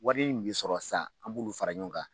Wari in bɛ sɔrɔ sisan an b'olu fara ɲɔgɔn kan.